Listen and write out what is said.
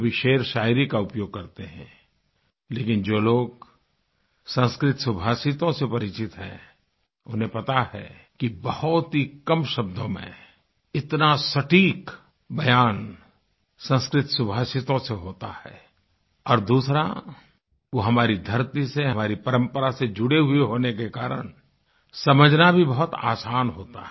कभी शेरशायरी का उपयोग करते हैं लेकिन जो लोग संस्कृत शुभाषितों से परिचित हैं उन्हें पता है कि बहुत ही कम शब्दों में इतना सटीक बयान संस्कृत शुभाषितों से होता है और दूसरा वो हमारी धरती से हमारी परम्परा से जुड़े हुए होने के कारण समझना भी बहुत आसान होता है